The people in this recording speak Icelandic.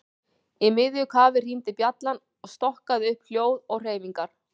Í miðju kafi hringdi bjallan og stokkaði upp hljóð og hreyfingar.